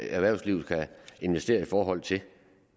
erhvervslivet kan investere i forhold til